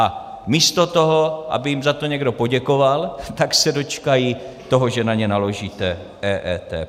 A místo toho, aby jim za to někdo poděkoval, tak se dočkají toho, že na ně naložíte EET.